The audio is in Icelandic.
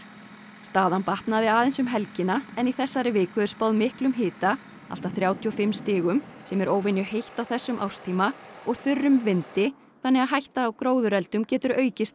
staðan batnaði aðeins um helgina en í þessari viku er spáð miklum hita allt að þrjátíu og fimm stigum sem er óvenjuheitt á þessum árstíma og þurrum vindi þannig að hætta á gróðureldum getur aukist enn